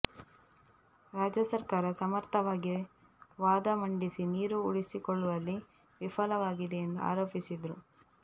ರಾಜ್ಯ ಸರ್ಕಾರ ಸಮರ್ಥವಾಗಿ ವಾದ ಮಂಡಿಸಿ ನೀರು ಉಳಿಸಿಕೊಳ್ಳುವಲ್ಲಿ ವಿಫಲವಾಗಿದೆ ಎಂದು ಆರೋಪಿಸಿದರು